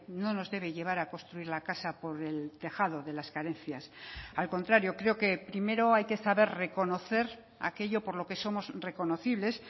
no nos debe llevar a construir la casa por el tejado de las carencias al contrario creo que primero hay que saber reconocer aquello por lo que somos reconocibles